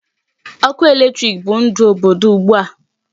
Ọkụ electric bụ ndụ obodo ugbu a.